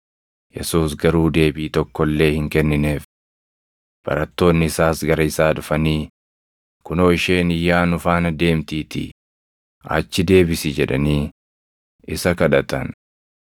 Yesuus garuu deebii tokko illee hin kennineef. Barattoonni isaas gara isaa dhufanii, “Kunoo isheen iyyaa nu faana deemtiitii achi deebisi” jedhanii isa kadhatan.